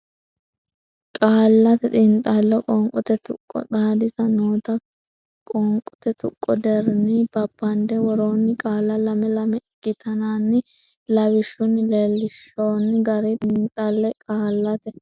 Qaallate Xiinxallo Qoonqote Tuqqo Xaadisa noota qoonqote tuqqo deerrinni babbande worroonni qaalla lame lame ikkitinanni lawishshunni leellinshoonni garinni xiinxalle Qaallate.